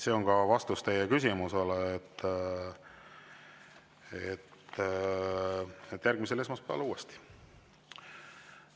" See on ka vastus teie küsimusele: järgmisel esmaspäeval uuesti.